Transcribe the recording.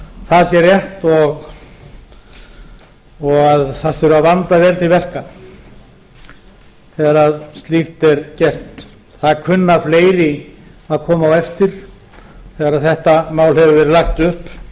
það sé rétt og að það þurfi að vanda vel til verka vegar slíkt er gert það kunna fleiri að koma á eftir þegar þetta mál hefur verið lagt upp